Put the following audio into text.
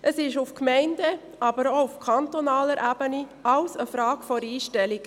Es ist auf Gemeindeebene, aber auch auf kantonaler Ebene alles eine Frage der Einstellung.